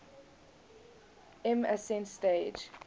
lm ascent stage